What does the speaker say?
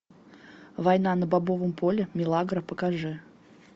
война на бобовом поле милагро покажи